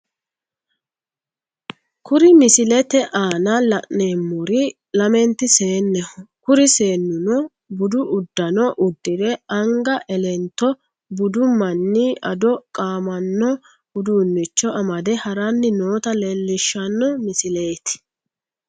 Kuri misilete aana la'neemmori lamenti seenneho kuri seennuno budu uddanno uddire anga elento budu manni ado qaamanno uduunnicho amade haranni noota leellishanno misileeti.